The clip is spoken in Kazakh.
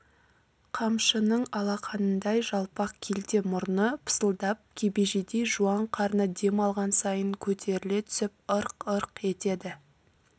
қамшының алақанындай жалпақ келте мұрны пысылдап кебежедей жуан қарны дем алған сайын көтеріле түсіп ырқ-ырқ етеді